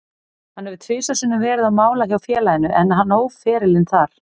Hann hefur tvisvar sinnum verið á mála hjá félaginu, en hann hóf ferilinn þar.